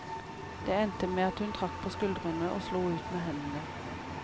Det endte med at hun trakk på skuldrene og slo ut med hendene.